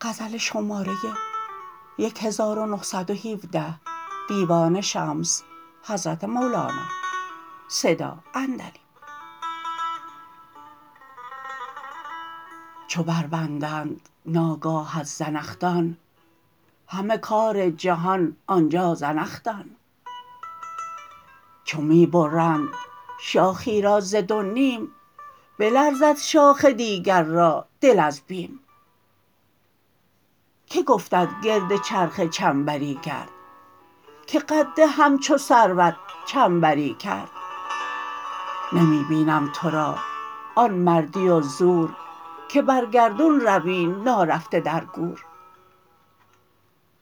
چو بربندند ناگاهت زنخدان همه کار جهان آن جا زنخ دان چو می برند شاخی را ز دو نیم بلرزد شاخ دیگر را دل از بیم که گفتت گرد چرخ چنبری گرد که قد همچو سروت چنبری کرد نمی بینم تو را آن مردی و زور که بر گردون روی نارفته در گور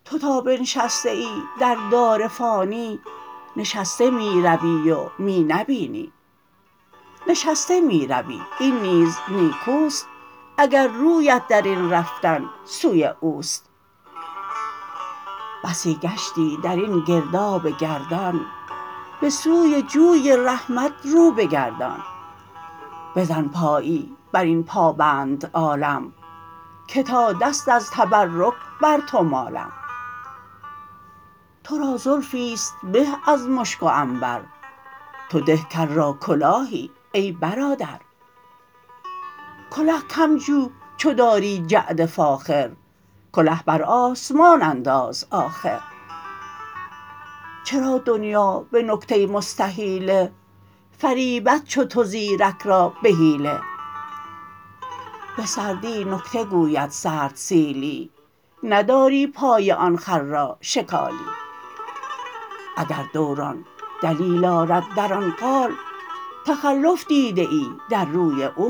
تو تا بنشسته ای در دار فانی نشسته می روی و می نبینی نشسته می روی این نیز نیکو است اگر رویت در این رفتن سوی او است بسی گشتی در این گرداب گردان به سوی جوی رحمت رو بگردان بزن پایی بر این پابند عالم که تا دست از تبرک بر تو مالم تو را زلفی است به از مشک و عنبر تو ده کل را کلاهی ای برادر کله کم جو چو داری جعد فاخر کله بر آسمان انداز آخر چرا دنیا به نکته مستحیله فریبد چو تو زیرک را به حیله به سردی نکته گوید سرد سیلی نداری پای آن خر را شکالی اگر دوران دلیل آرد در آن قال تخلف دیده ای در روی او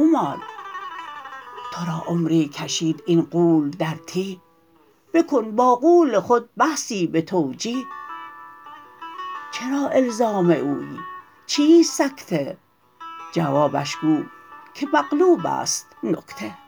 مال تو را عمری کشید این غول در تیه بکن با غول خود بحثی به توجیه چرا الزام اویی چیست سکته جوابش گو که مقلوب است نکته